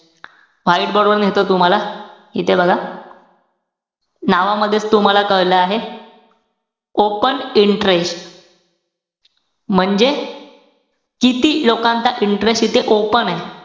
बरोबर मिळतोय तुम्हाला, इथे बघा. नावामध्येच तूम्हाला कळलं आहे open interest. म्हणजे किती लोकांचा interest इथे open ए.